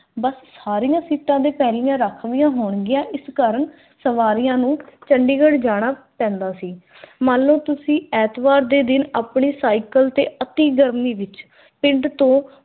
ਬੱਸ ਸਾਰੀਆਂ ਸੀਟਾਂ ਦੇ ਪਹਿਲੀਆਂ ਰਾਖਵੀਆਂ ਹੋਣਗੀਆ। ਇਸ ਕਾਰਣ ਸਵਾਰੀਆਂ ਨੂੰ ਚੰਡੀਗੜ੍ਹ ਜਾਣਾ ਪੈਂਦਾ ਸੀ। ਮੰਨ ਲਓ ਤੁਸੀਂ ਐਤਵਾਰ ਦੇ ਦਿਨ ਆਪਣੇ ਸਾਈਕਲ ਤੇ ਅਤੀ ਗਰਮੀ ਵਿਚ ਪਿੰਡ ਤੋਂ